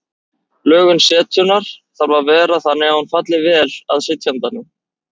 Lögun setunnar þarf að vera þannig að hún falli vel að sitjandanum.